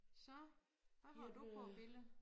Så hvad har du for et billede?